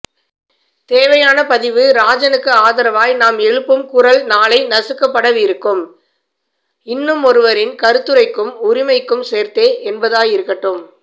தேவையான பதிவு ராஜனுக்கு ஆதரவாய் நாம் எழுப்பும் குரல் நாளை நசுக்கப்படவிருக்கும் இன்னுமொருவரின் கருத்துரைக்கும் உரிமைக்கும் சேர்த்தே என்பதாயிருக்கட்டும்